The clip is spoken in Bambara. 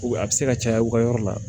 A bɛ se ka caya u ka yɔrɔ la